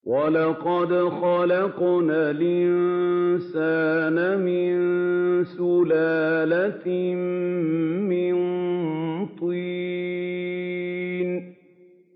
وَلَقَدْ خَلَقْنَا الْإِنسَانَ مِن سُلَالَةٍ مِّن طِينٍ